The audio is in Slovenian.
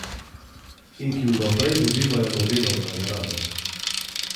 In ki vnaprej dobivajo Nobelove nagrade.